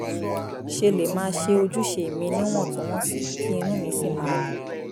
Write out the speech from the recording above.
ṣe lè máa ṣe ojúṣe mi níwọ̀ntúnwọ̀nsì kí inú mi sì máa dùn